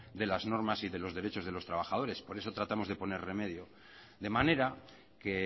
de las normas y de los derechos de los trabajadores por eso tratamos de poner remedio de manera que